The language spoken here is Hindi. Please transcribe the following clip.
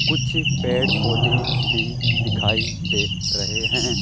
कुछ पेड़ पौधे भी दिखाई दे रहे हैं।